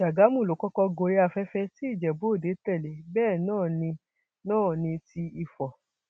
ti ṣàgámù ló kọkọ gorí afẹfẹ tí ìjẹbúòde tẹlẹ bẹẹ náà ní náà ní ti ifo